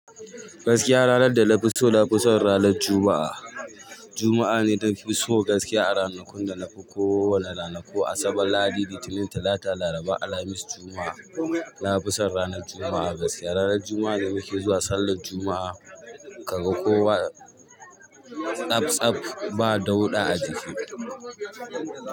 Gaskiya ranar da na fi so, na fi son ranar Juma'a. Juma'a ne ta fi so gaskiya a ranakun da na fi ko wane ranaku Asabar, Lahadi, Litinin, Talata, Laraba, Alhamis, Juma'a. Na fi so ranar Juma'a gaskiya, ranar Juma'a ne muke zuwa sallar Juma'a ka ga kowa tsabtsab, ba dauɗa a jiki.